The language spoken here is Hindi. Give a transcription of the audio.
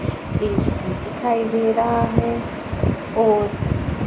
इच दिखाई दे रहा है और--